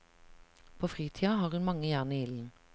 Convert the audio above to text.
På fritida har hun mange jern i ilden.